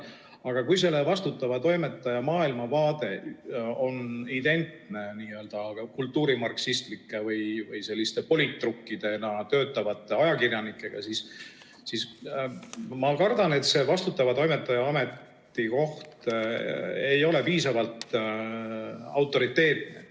Aga kui selle vastutava toimetaja maailmavaade on identne kultuurimarksistlike või politrukkidena töötavate ajakirjanike omaga, siis ma kardan, et ta ei ole piisavalt autoriteetne.